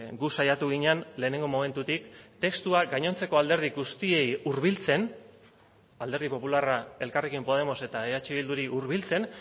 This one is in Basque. gu saiatu ginen lehenengo momentutik testuak gainontzeko alderdi guztiei hurbiltzen alderdi popularra elkarrekin podemos eta eh bilduri hurbiltzen